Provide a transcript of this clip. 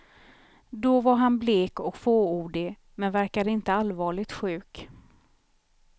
Då var han blek och fåordig, men verkade inte allvarligt sjuk.